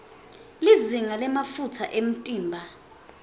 lizinga lemafutsa emtimba